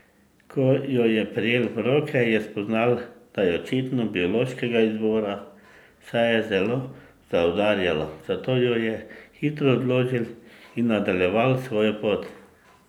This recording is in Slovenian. Ko jo je prijel v roke, je spoznal, da je očitno biološkega izvora, saj je zelo zaudarjala, zato jo je hitro odložil in nadaljeval svojo pot.